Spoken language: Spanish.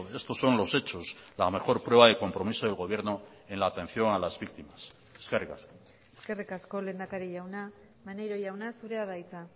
estos son los hechos la mejor prueba de compromiso del gobierno en la atención a las víctimas eskerrik asko eskerrik asko lehendakari jauna maneiro jauna zurea da hitza